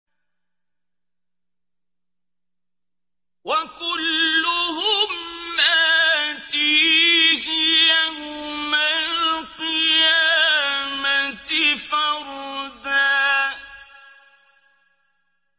وَكُلُّهُمْ آتِيهِ يَوْمَ الْقِيَامَةِ فَرْدًا